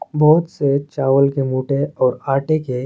बहोत से चावल के रोटे और आटे के--